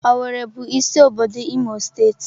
Owerri bụ isi obodo Imo steeti.